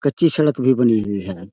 कच्ची सड़क भी भी हुई है।